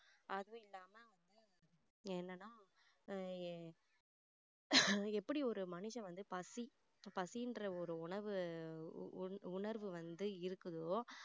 அதுவும் இல்லாம வந்து என்னன்னா எர் எப்படி ஒரு மனுஷன் வந்து பசி பசின்ற ஒரு உணர்வு உ~உணர்வு வந்து இருக்குதோ